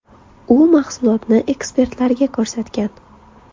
U mahsulotni ekspertlarga ko‘rsatgan.